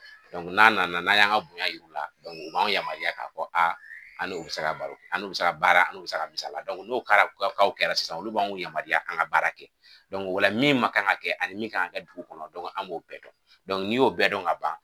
n'an nana n'an y'an ŋa bonya yir'u la u b'an yamaruya ka fɔ an n'u bi se baro kɛ an n'u bi se ka baara an n'u bi se ka misala n'o kara u ka kaw kɛra sisan olu b'anw yamaruya k'an ŋa baara kɛ. o la min ma kan ŋa kɛ ani min ka ŋa kɛ dugu kɔnɔ an b'o bɛɛ dɔn. n'i y'o bɛɛ dɔn ka ban